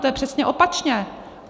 To je přesně opačně.